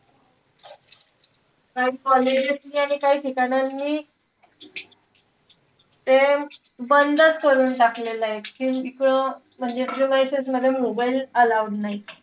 काई colleges नि आणि काई ठिकाणांनी ते बंदच करून टाकलेलंय. कि इथं म्हणजे mobile allowed नाई.